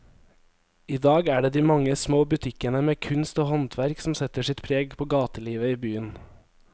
I dag er det de mange små butikkene med kunst og håndverk som setter sitt preg på gatelivet i byen.